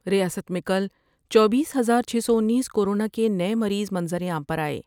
ریاست میں کل چوبیس ہزار چھ سو انیس کورونا کے نئے مریض منظر عام پر آۓ ۔